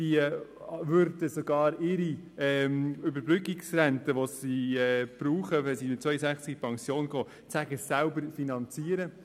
Diese würden ihre Überbrückungsrente sogar selber finanzieren.